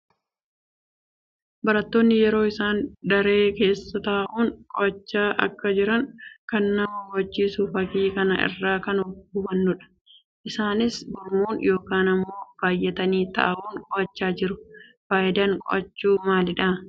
Barattoonni yeroo isaan daree keessa taa'uun qo'achaa akka jiran kan nama hubachiisu fakkii kana irraa kan hubanuu dha. Isaanis gurmuun yookiin immoo baayyatanii taa'uun qo'achaa jiru. Faayidaan qo'achuu maalii dha?